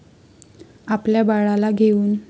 आपल्या बाळाला घेऊन.